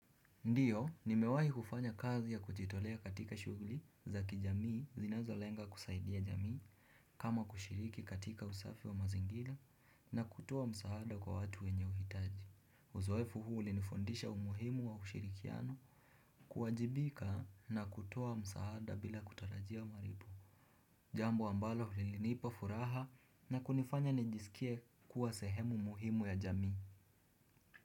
Ndiyo, nimewahi kufanya kazi ya kujitolea katika shughuli zaki jamii zinazo lenga kusaidia jamii. Kama kushiriki katika usafi wa mazingira na kutoa msaada kwa watu wenye uhitaji. Uzoefu huu ulinifundisha umuhimu wa ushirikiano kuwajibika na kutoa msaada bila kutarajia malipo. Jambo ambalo lilinipa furaha na kunifanya nijisikie kuwa sehemu muhimu ya jamii.